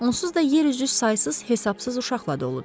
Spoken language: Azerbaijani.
Onsuz da yer üzü saysız-hesabsız uşaqla doludur.